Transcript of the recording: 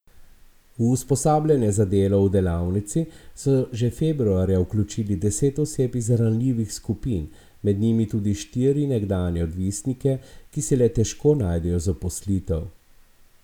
V usposabljanje za delo v delavnici so že februarja vključili deset oseb iz ranljivih skupin, med njimi tudi štiri nekdanje odvisnike, ki si le težko najdejo zaposlitev.